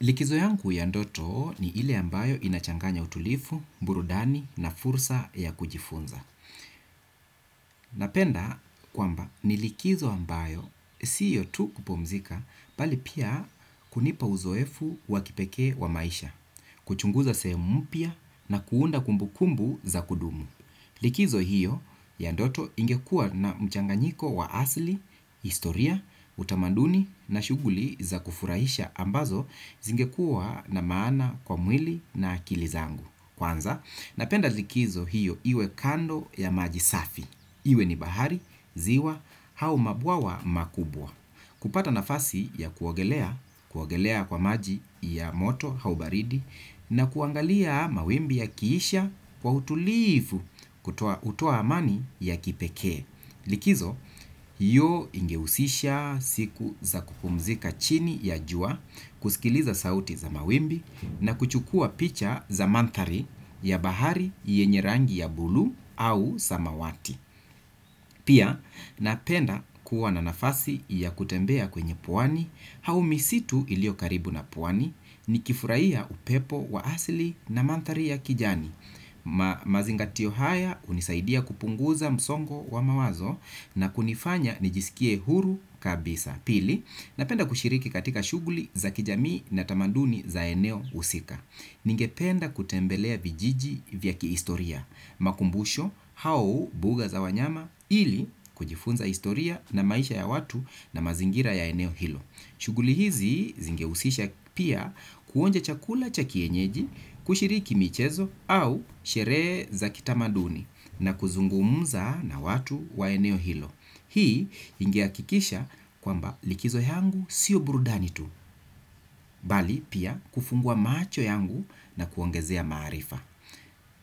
Likizo yangu ya ndoto ni ile ambayo inachanganya utulivu, burudani na fursa ya kujifunza. Napenda kwamba ni likizo ambayo sio tu kupumzika bali pia kunipa uzoefu wa kipekee wa maisha, kuchunguza sehemu mpya na kuunda kumbu kumbu za kudumu. Likizo hiyo ya ndoto ingekua na mchanganyiko wa asli, historia, utamanduni na shuguli za kufurahisha ambazo zingekuwa na maana kwa mwili na akili zangu. Kwanza, napenda likizo hiyo iwe kando ya maji safi. Iwe ni bahari, ziwa, au mabwawa makubwa. Kupata nafasi ya kuogelea, kuogelea kwa maji ya moto, au baridi, na kuangalia mawimbi yakiisha kwa utulivu hutoa amani ya kipekee. Likizo, hiyo ingehusisha siku za kupumzika chini ya jua kusikiliza sauti za mawimbi na kuchukua picha za mandhari ya bahari yenye rangi ya bulu au samawati. Pia, napenda kuwa na nafasi ya kutembea kwenye pwani, au misitu iliyo karibu na pwani, nikifurahia upepo wa asli na manthari ya kijani. Mazingatio haya hunisaidia kupunguza msongo wa mawazo na kunifanya nijisikie huru kabisa. Pili, napenda kushiriki katika shuguli za kijamii na tamaduni za eneo husika. Ningependa kutembelea vijiji vya kihistoria, makumbusho, au mbuga za wanyama ili kujifunza historia na maisha ya watu na mazingira ya eneo hilo. Shuguli hizi zingehusisha pia kuonja chakula cha kienyeji, kushiriki michezo au sherehe za kitamaduni na kuzungumza na watu wa eneo hilo. Hii ingehakikisha kwamba likizo yangu sio burudani tu, bali pia kufungua macho yangu na kuongezea maarifa.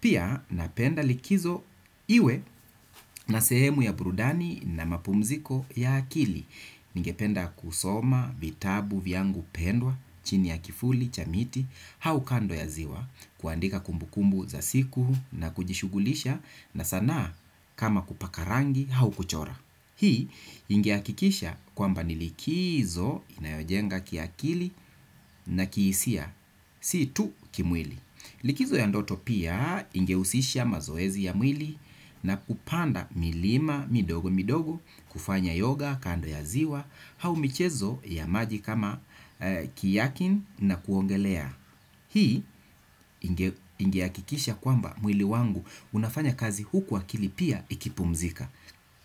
Pia napenda likizo iwe na sehemu ya brudani na mapumziko ya akili. Ningependa kusoma, vitabu, vyangu, pendwa, chini ya kivuli, cha miti, au kando ya ziwa, kuandika kumbukumbu za siku na kujishugulisha na sanaa kama kupaka rangi au kuchora. Hii ingehakikisha kwamba ni likizo inayojenga kiakili na kihisia, si tu kimwili. Likizo ya ndoto pia ingehusisha mazoezi ya mwili na kupanda milima, midogo midogo, kufanya yoga, kando ya ziwa, au michezo ya maji kama kiakin na kuogelea. Hii ingehakikisha kwamba mwili wangu unafanya kazi huku akili pia ikipumzika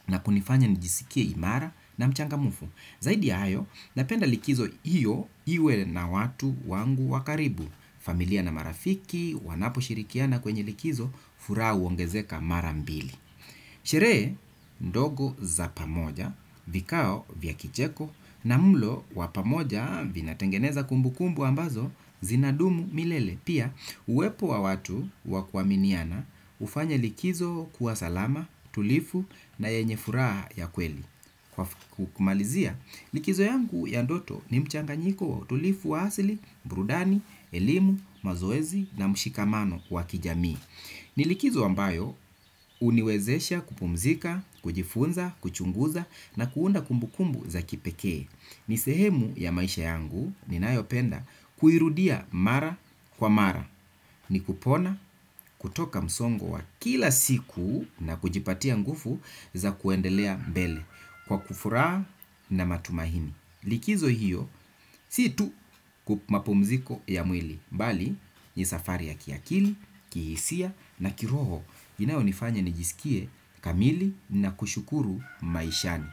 na kunifanya nijisikie imara na mchangamfu. Zaidi ya, napenda likizo hiyo iwe na watu wangu wa karibu, familia na marafiki, wanaposhirikiana kwenye likizo, furaha huongezeka mara mbili. Sherehe ndogo za pamoja, vikao vya kicheko, na mlo wa pamoja vina tengeneza kumbu kumbu ambazo zinadumu milele. Pia, uwepo wa watu wa kuaminiana hufanya likizo kuwa salama, tulivu na yenye furaha ya kweli. Kumalizia, likizo yangu ya ndoto ni mchanganyiko wa utulivu wa asili, burudani, elimu, mazoezi na mshikamano wa kijamii. Ni likizo ambayo huniwezesha kupumzika, kujifunza, kuchunguza na kuunda kumbu kumbu za kipekee. Ni sehemu ya maisha yangu ninayopenda kuirudia mara kwa mara. Ni kupona kutoka msongo wa kila siku na kujipatia nguvu za kuendelea mbele. Kwa kufuraha na matumaini likizo hiyo, si tu kwa mapumziko ya mwili bali ni safari ya kiakili, kihisia na kiroho inayonifanya nijisikie kamili na kushukuru maishani.